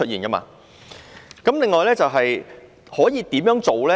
那麼，可以怎樣做呢？